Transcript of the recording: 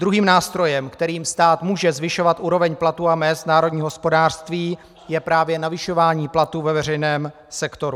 Druhým nástrojem, kterým stát může zvyšovat úroveň platů a mezd v národním hospodářství, je právě navyšování platů ve veřejném sektoru.